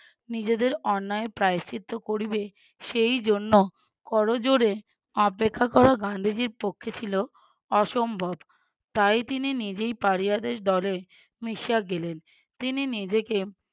নিজেদের অন্যায় প্রায়শ্চিত্ত করিবে সেইজন্য করজোড়ে অপেক্ষা করা গান্ধীজির পক্ষে ছিল অসম্ভব। তাই তিনি নিজেই পাড়িয়াদের দলে মিশিয়ে গেলেন তিনি নিজেকে